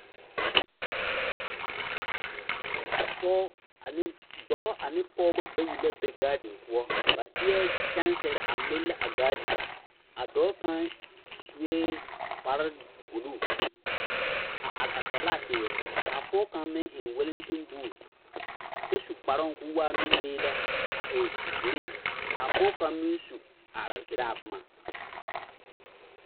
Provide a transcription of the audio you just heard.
Pɔgebɔ ne dɔbɔ la are a ɔnnɔ kõɔ a ennɛ rɔbare ane talakpomo poɔ, a pɔge kaŋ seɛ wagyɛ ka kaŋ seɛ mɔŋkuri sɔɔlaa ane wagyɛ ka lɔɔre gaa te biŋ ka kaŋ a lɔre kyɛlɛɛ waa zeɛ k'a kyɛlɛɛ waa pelaa ka kaŋ tuo kõɔ.